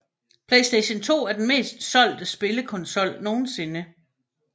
Playstation 2 er den mest solgte spillekonsol nogensinde